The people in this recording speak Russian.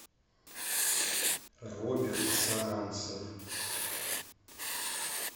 роберт саранцев